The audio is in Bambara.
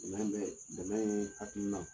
Dɛmɛ bɛ dɛmɛ yee hakilina